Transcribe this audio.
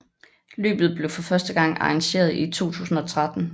Løbet blev for første gang arrangeret i 2013